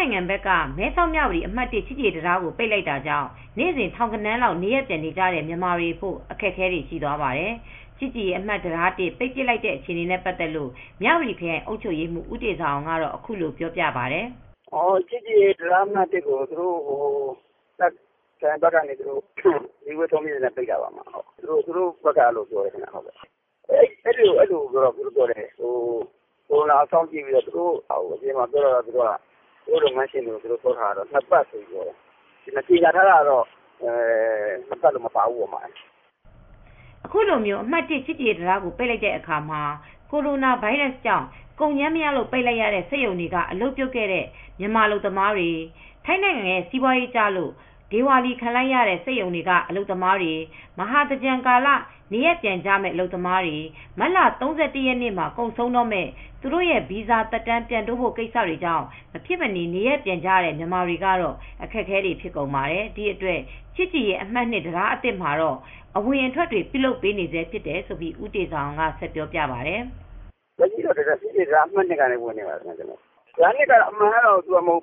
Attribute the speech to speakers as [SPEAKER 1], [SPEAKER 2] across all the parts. [SPEAKER 1] ထိုင်းဘက်က မဲဆောက်-မြဝတီ အမှတ် ၁ ချစ်ကြည်ရေးတံတားကို ပိတ်လိုက်တာကြောင့် နေ့စဉ် ထောင်ဂဏန်းလောက် နေရပ်ပြန်နေကြတဲ့ မြန်မာတွေအဖို့ အခက်အခဲတွေ ရှိသွားပါတယ်။ ချစ်ကြည်ရေးတံတားအမှတ် ၁ ပိတ်ပစ်လိုက်တဲ့ အခြေအနေနဲ့ ပတ်သက်လို့ မြဝတီခရိုင် အုပ်ချုပ်ရေးမှူး ဦးတေဇာအောင်က အခုလိုပြောပြပါတယ်။
[SPEAKER 2] “ချစ်ကြည်ရေးတံတား ၁ ကို တာ့ခ်ခရိုင် အစည်းအဝေး ဆုံးဖြတ်ချက်နဲ့ ပိတ်လိုက်တယ်လို့ သူတို့ဘက်က ပြောပါတယ်။ ကိုရိုနာ စောင့်ကြည့်ပြီးတော့ ပြောတယ်၊ သူတို့ အပြင်မှာ ပြောတာကတော့ လုပ်ငန်းရှင်တွေကို ၂ ပတ်ပိတ်မယ်လို့ ပြောပါတယ်။ ကြေညာထားတာတော့ ၂ ပတ်ဆိုတာတော့ မပါဘူး။
[SPEAKER 1] ” အခုလို အမှတ် ၁ ချစ်ကြည်ရေးတံတားကို ပိတ်လိုက်တဲ့အခါမှာ ကိုရိုနာဗိုင်းရပ်စ်ကြောင့် ကုန်ကြမ်းမရလို့ ပိတ်လိုက်ရတဲ့ စက်ရုံတွေက အလုပ်ပြုတ်တဲ့ အလုပ်သမားတွေ၊ ထိုင်းစီးပွားရေးကျလို့ ဒေဝါလီခံလိုက်ရတဲ့ စက်ရုံတွေက အလုပ်သမားတွေ၊ မဟာသင်္ကြန်ကာလ နေရပ်ပြန်ကြမယ့် မြန်မာတွေ၊ မတ်လ ၃၁ ရက်နေ့မှာ ကုန်ဆုံးတော့မယ့် သူတို့ရဲ့ ဗီဇာသက်တမ်း ပြန်တိုးဖို့ကိစ္စတွေကြောင့် မဖြစ်မနေ နေရပ်ပြန်ကြတဲ့ မြန်မာတွေကတော့ အခက်အခဲတွေ ဖြစ်ကုန်ပါတယ်။ ဒီအတွက် ချစ်ကြည်ရေး အမှတ် ၂ တံတားအသစ်မှာတော့ အဝင်အထွက်တွေ ပြုလုပ်ပေးနေဆဲ ဖြစ်တယ်လို့ ဦးတေဇာအောင်က ဆက်ပြောပြပါတယ်။
[SPEAKER 2] “ချစ်ကြည်ရေးတံတား ၂ ကနေ ဝင်နေပါတယ်။ အမှတ် ၂ က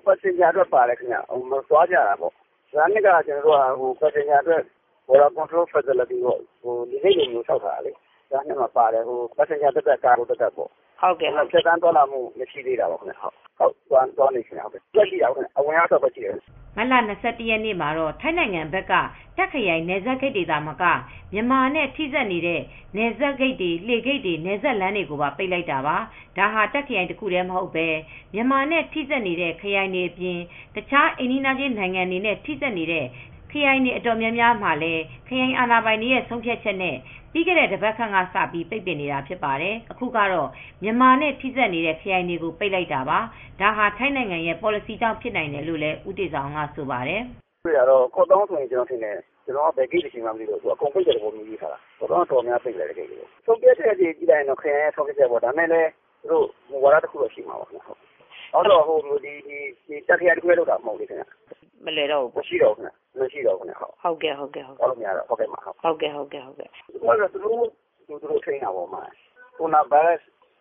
[SPEAKER 2] Passenger အတွက် ပါပါတယ်။ သွားကြတာ နယ်စပ်ဖြတ်သန်းတဲ့ စစ်ဆေးရေးလုပ်ငန်းစဉ် အပြည့်အ၀ ရှိတယ်။ တံတား ၂ က လေဆိပ်လို ဆောက်လုပ်ထားတာပါ။ Cargo သတ်သတ် Passenger သတ်သတ်
[SPEAKER 1] အဝင်ရော အထွ
[SPEAKER 2] က်ရော လုပ်လို့ရတာရှိတယ်။” မတ်လ ၂၁ ရက်န
[SPEAKER 1] ေ့မှာတော့ ထိုင်းနိုင်ငံဘက်က တာ့ခ်ခရိုင် နယ်စပ်ဂိတ်တွေသာမက မြန်မာနဲ့ ထိစပ်နေတဲ့ နယ်စပ်လှေဂိတ်တွေ၊ နယ်စပ်လမ်းတွေပါ ပိတ်ပစ်လိုက်တာပါ။ ဒါဟာ တာ့ခ်ခရိုင်တခုတည်း မဟုတ်ဘဲ မြန်မာနဲ့ ထိစပ်နေတဲ့ ခရိုင်တွေအပြင် တခြား အိမ်နီးချင်းနိုင်ငံတွေနဲ့ ထိစပ်နေတဲ့ ခရိုင်တွေ အတော်များများကို ခရိုင်အာဏာပိုင်တွေ ဆုံးဖြတ်ချက်နဲ့ ပြီးခဲ့တဲ့ တပတ်ခန့်က စတင်ပြီး ပိတ်နေတာတွေ ရှိပါတယ်။ အခုကတော့ မြန်မာနဲ့ ထိစပ်နေတဲ့ ခရိုင်တွေကို ပိတ်လိုက်တာပါ။ ဒါက ထိုင်းနိုင်ငံရဲ့ ပေါ်လစီကြောင့် ဖြစ်နိုင်တယ်လို့လည်း ဦးတေဇာအောင်က ဆိုပါတယ်။
[SPEAKER 2] “ကော့သောင်းဆိုရင် အကုန်ပိတ်တာပဲ။ အခုဆုံးဖြတ်ချက်ကတော့ တာ့ခ်ခရိုင်က ဆုံးဖြတ်ချက်တွေပဲ။ ဒါပေမယ့် သူတို့ မူဝါဒရှိတယ်ထင်ပါတယ်။ တာ့ခ်ခရိုင်သက်သက် တခုတည်းမှာ မဟုတ်ဘူး။ သူတို့ကတ
[SPEAKER 1] ော့ သူတို့
[SPEAKER 2] ဘာသာသူတို့ ထိန်းတာပါပဲ။ ကိုရိုနာဗိုင်းရပ်စ်ကြောင့်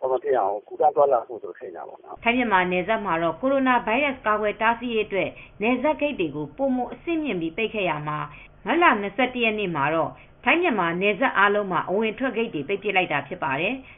[SPEAKER 2] ကူးသန်းသွားလာမှု မရှိအောင် ထိန်းတဲ့သဘောပါ
[SPEAKER 1] ။” ထိုင်း-မြန်မာနယ်စပ်မှာတော့ ကိုရိုနာဗိုင်းရပ်စ် ကာကွယ်တားဆီးရေးအတွက် နယ်စပ်ဂိတ်တွေကို ပိုမိုအဆင်မြှင့်ပြီး ပိတ်ပင်ခဲ့ရာမှာ မတ်လ ၂၁ ရက်နေ့မှာတော့ ထိုင်း-မြန်မာ နယ်စပ်အားလုံးနီးပါးမှာ အဝင်အထွက်ကို ပိတ်ပစ်ခဲ့တာဖြစ်ပါတယ်။